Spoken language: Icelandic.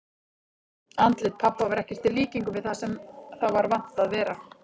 Andlit pabba var ekkert í líkingu við það sem það var vant að vera.